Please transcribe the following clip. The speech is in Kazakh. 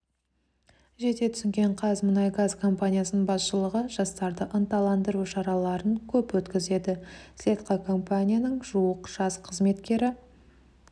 жете түсінген қазмұнайгаз компаниясының басшылығы жастарды ынталандыру шараларын көп өткізеді слетқа компанияның жуық жас қызметкері